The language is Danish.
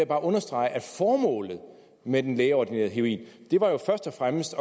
bare understrege at formålet med den lægeordinerede heroin jo først og fremmest